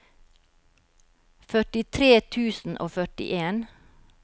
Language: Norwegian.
førtitre tusen og førtien